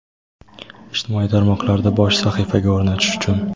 Ijtimoiy tarmoqlarda bosh sahifaga o‘rnatish uchun.